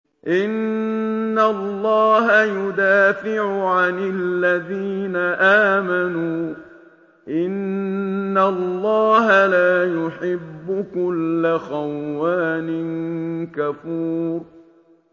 ۞ إِنَّ اللَّهَ يُدَافِعُ عَنِ الَّذِينَ آمَنُوا ۗ إِنَّ اللَّهَ لَا يُحِبُّ كُلَّ خَوَّانٍ كَفُورٍ